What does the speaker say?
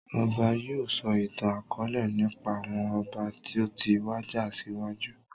Ọba yìí ó sọ ìtàn akọ̀ọ̀lẹ nípa àwọn ọba toti wàjà síwájú